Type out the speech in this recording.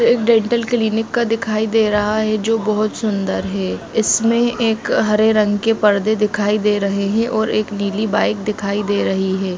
एक dental clinic का दिखाई दे रहा है जो बोहोत सुंदर है इसमें एक हरे रंग के परदे दिखाई दे रहे है और एक नीली बाइक दिखाई दे रही है।